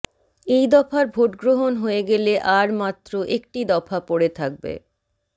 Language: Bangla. এই দফার ভোটগ্রহণ হয়ে গেলে আর মাত্র একটি দফা পড়ে থাকবে